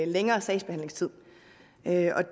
længere sagsbehandlingstid